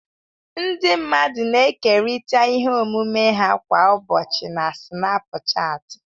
Ndị mmadụ na-ekerịta ihe omume ha kwa ụbọchị na Sinapuchati.